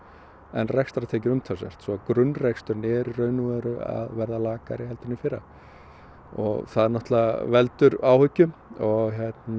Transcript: en rekstrartekjur umtalsvert svo að grunnreksturinn er í raun og veru að verða lakari heldur en í fyrra og það náttúrulega veldur áhyggjum og